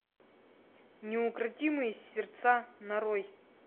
неукротимые сердца нарой